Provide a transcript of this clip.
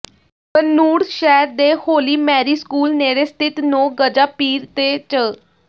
ਬਨੂੜ ਸ਼ਹਿਰ ਦੇ Holy Mary School ਨੇੜੇ ਸਥਿਤ ਨੋ ਗਜਾ ਪੀਰ ਤੇ ਚ